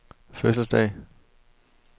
fødselsdag